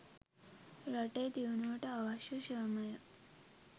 රටේ දියුණුවට අවශ්‍ය ශ්‍රමය